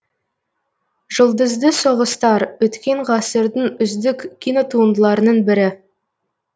жұлдызды соғыстар өткен ғасырдың үздік кинотуындыларының бірі